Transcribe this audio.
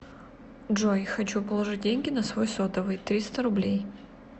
джой хочу положить деньги на свой сотовый триста рублей